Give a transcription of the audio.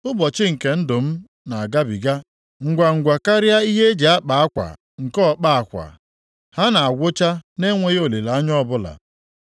“Ụbọchị nke ndụ m na-agabiga ngwangwa karịa ihe eji akpa akwa nke ọkpa akwa, ha na-agwụcha na-enweghị olileanya ọbụla.